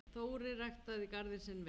Þórir ræktaði garðinn sinn vel.